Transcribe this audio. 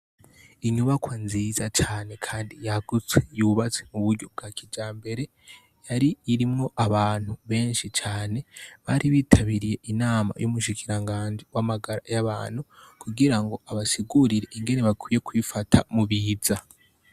Inyubakwa nziza cane kandi yagutse yubatswe mu buryo bwa kijambere irimwo abantu benshi cane bari bitabiriye inama y' umushikirangaji w' amagara y' abantu kugira abasigurire ingene bakwiye kwifata mubiza.